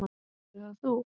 Verður það þú?